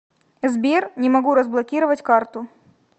сбер не могу разблокировать карту